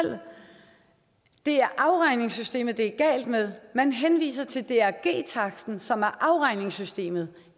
det siger afregningssystemet det er galt med man henviser til drg taksten som er afregningssystemet